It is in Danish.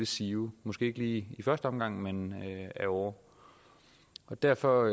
sive måske ikke i første omgang men ad åre derfor